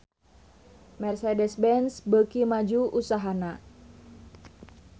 Mercedez-Benz beuki maju usahana